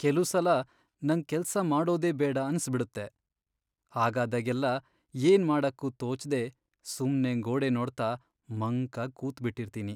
ಕೆಲುಸಲ ನಂಗ್ ಕೆಲ್ಸ ಮಾಡೋದೇ ಬೇಡ ಅನ್ಸ್ಬಿಡುತ್ತೆ, ಹಾಗಾದಾಗೆಲ್ಲ ಏನ್ ಮಾಡಕ್ಕೂ ತೋಚ್ದೇ ಸುಮ್ನೇ ಗೋಡೆ ನೋಡ್ತಾ ಮಂಕಾಗ್ ಕೂತ್ಬಿಟಿರ್ತೀನಿ.